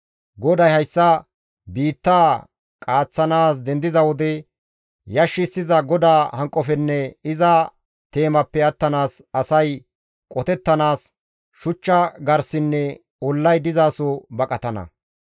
GODAY hayssa biittaa qaaththanaas dendiza wode Yashissiza GODAA hanqofenne iza teemappe attanaas asay qotettanaas shuchcha garsinne ollay dizaso baqatana.